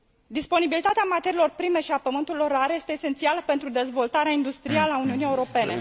Disponibilitatea materiilor prime și a pământurilor rare este esențială pentru dezvoltarea industrială a Uniunii Europene.